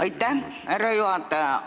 Aitäh, härra juhataja!